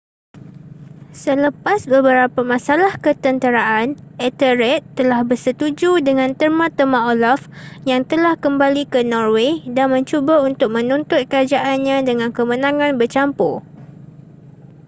selepas beberapa masalah ketenteraan ethelred telah bersetuju dengan terma-terma olaf yang telah kembali ke norway dan mencuba untuk menuntut kerajaannya dengan kemenangan bercampur